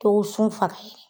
To sun faga